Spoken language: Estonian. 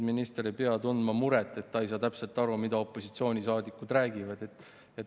Minister ei pea tundma muret, et ta ei saa täpselt aru, mida opositsioonisaadikud räägivad.